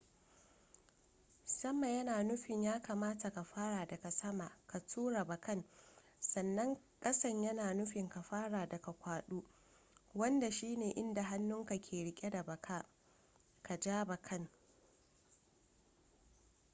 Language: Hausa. sama yana nufin ya kamata ka fara daga sama ka tura bakan sannan kasan yana nufin ka fara daga kwado wanda shine inda hannunka ke rike da baka ka ja bakan